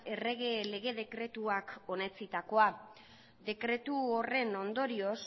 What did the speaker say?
errege lege dekretuak onetsitakoa dekretu horren ondorioz